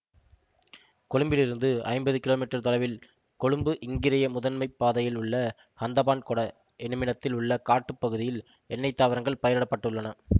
கொழும்பிலிருந்து ஐம்பது கிமீ தொலைவில் கொழும்புஇங்கிரிய முதன்மை பாதையில் உள்ள ஹந்தபான்கொட என்னுமிடத்தில் உள்ள காட்டுப் பகுதியில் எண்ணைத் தாவரங்கள் பயிரிடப்பட்டுள்ளன